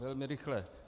Velmi rychle.